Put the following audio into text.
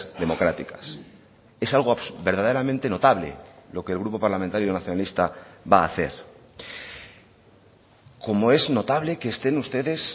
democráticas es algo verdaderamente notable lo que el grupo parlamentario nacionalista va a hacer como es notable que estén ustedes